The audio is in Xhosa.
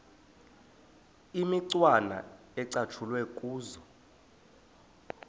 imicwana ecatshulwe kuzo